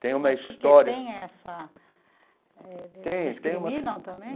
Tem uma história... Isso por que tem essa eh... Desses discriminam também?